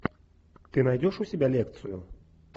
ты найдешь у себя лекцию